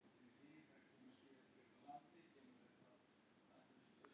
Er von á frekari liðsstyrk til Keflavíkur?